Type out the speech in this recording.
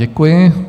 Děkuji.